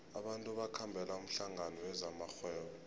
abantu bakhambela umhlangano wezamarhwebo